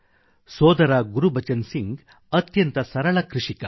ಸೋದರಗುರ್ಬಚನ್ ಸಿಂಘ್ ಅತ್ಯಂತ ಸರಳ ಕೃಷಿಕ